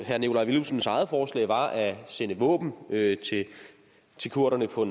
herre nikolaj villumsens eget forslag var at sende våben til kurderne på